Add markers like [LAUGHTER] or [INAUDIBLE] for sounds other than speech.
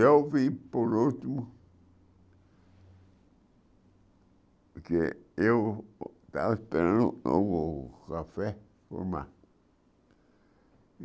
Eu vim por último, porque eu estava esperando o café. [UNINTELLIGIBLE]